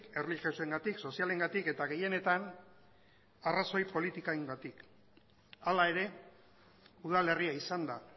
erlijiosoengatik sozialengatik eta gehienetan arrazoi politikoengatik hala ere udalerria izan da